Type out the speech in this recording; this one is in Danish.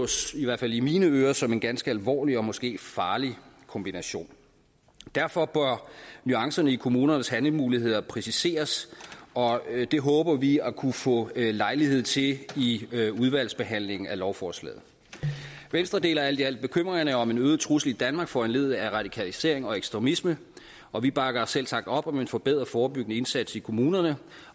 i hvert fald i mine ører som en ganske alvorlig og måske farlig kombination derfor bør nuancerne i kommunernes handlemuligheder præciseres og det håber vi at kunne få lejlighed til i i udvalgsbehandlingen af lovforslaget venstre deler alt i alt bekymringerne om en øget trussel i danmark foranlediget af radikalisering og ekstremisme og vi bakker selvsagt op om en forbedret forebyggende indsats i kommunerne